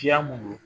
Kiya mun don